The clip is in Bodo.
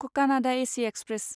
Kakinada AC express